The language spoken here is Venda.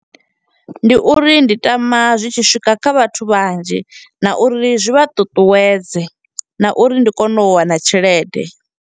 Ndi uri ndi tama zwi tshi swika kha vhathu vhanzhi, na uri zwi vha ṱuṱuwedze, na uri ndi kone u wana tshelede.